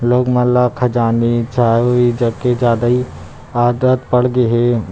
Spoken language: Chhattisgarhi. लोग मन ल खजानवी चायो ए जग के ज्यादा ही आदत पड़ गे हे।